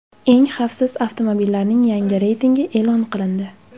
Eng xavfsiz avtomobillarning yangi reytingi e’lon qilindi.